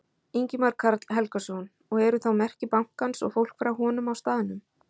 Ingimar Karl Helgason: Og eru þá merki bankans og fólk frá honum á staðnum?